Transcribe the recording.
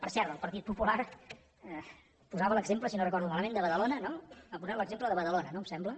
per cert el partit popular posava l’exemple si no ho recordo malament de badalona no ha posat l’exemple de badalona no em sembla